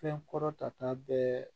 Fɛn kɔrɔ tata bɛɛ